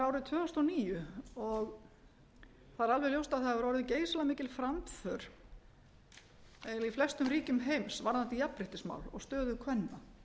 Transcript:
árið tvö þúsund og níu og það er alveg ljóst að það hefur orðið geysilega mikil framför eiginlega í flestum ríkjum heims varðandi jafnréttismál og stöðu kvenna